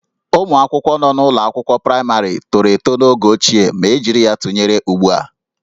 Ụmụ akwụkwọ nọ n'ụlọ akwụkwọ praịmarị tọrọ eto n'oge ochie ma e jiri ya tụnyere ugbu a